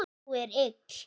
Hún er ill.